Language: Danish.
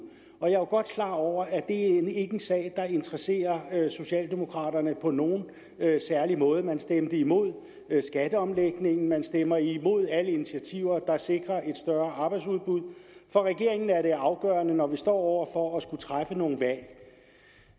og jeg er jo godt klar over at det er en sag der interesserer socialdemokraterne på nogen særlig måde man stemte imod skatteomlægningen man stemmer imod alle initiativer der sikrer et større arbejdsudbud for regeringen er det afgørende når vi står over for at skulle træffe nogle valg at